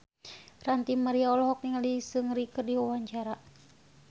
Ranty Maria olohok ningali Seungri keur diwawancara